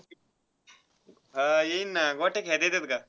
हा, येईन ना. गोट्या खेळता येतात का?